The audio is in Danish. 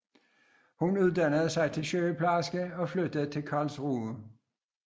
Hun uddannede sig til sygeplejerske og flyttede til Karlsruhe